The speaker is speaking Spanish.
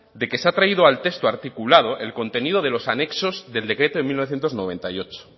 de que se ha traído al texto articulado el contenido de los anexos del decreto de mil novecientos noventa y ocho